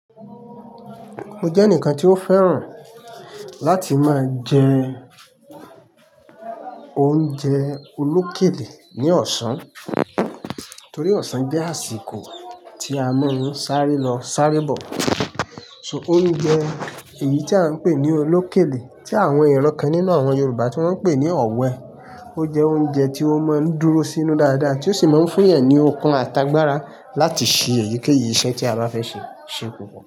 Mo jẹ́ ẹnìkan tí ó fẹ́ràn láti máa jẹ oúnjẹ olókèlè ní ọ̀sán torí ọ̀sán jẹ́ àsìkò tí a máa ń sáré lọ sáré bọ̀. So oúnjẹ èyí tí a ń pè ní olókèlè tí àwọn ẹgbẹ́ kan nínú àwọn Yorùbá tí wọ́n ń pè ní ọ̀wẹ. Ó jẹ oúnjẹ tí ó máa ń dúró sínú dáadáa tí ó sì máa ń fún ẹni okun àtàgbàra láti ṣe èyíkéyìí iṣẹ́ tí a bá fẹ́ ṣe ṣepò.